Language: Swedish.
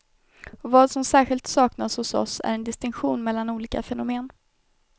Och vad som särskilt saknas hos oss är en distinktion mellan olika fenomen.